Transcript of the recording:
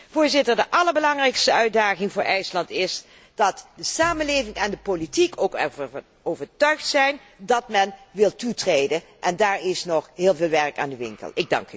Voorzitter, de allerbelangrijkste uitdaging voor IJsland is dat de samenleving en de politiek ook ervan overtuigd zijn dat men wil toetreden en daar is nog heel veel werk aan de winkel.